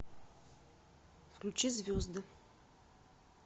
включи звезды